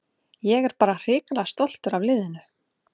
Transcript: Ég er bara hrikalega stoltur af liðinu.